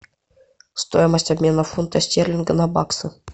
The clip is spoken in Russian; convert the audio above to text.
стоимость обмена фунта стерлинга на баксы